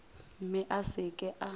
mme a se ke a